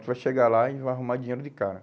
Você vai chegar lá e vai arrumar dinheiro de cara.